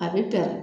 A bɛ pɛrɛn